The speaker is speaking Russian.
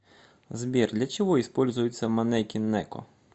сбер для чего используется манеки неко